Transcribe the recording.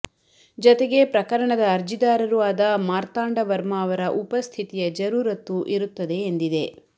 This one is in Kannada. ಜತೆಗೆ ಪ್ರಕರಣದ ಅರ್ಜಿದಾರರೂ ಆದ ಮಾರ್ತಾಂಡ ವರ್ಮಾ ಅವರ ಉಪಸ್ಥಿತಿಯ ಜರೂರತ್ತು ಇರುತ್ತದೆ ಎಂದಿದೆ